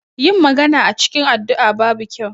Yin magana a cikin addu'a babu kyau.